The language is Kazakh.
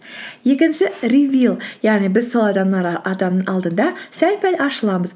екінші ревил яғни біз сол адам алдында сәл пәл ашыламыз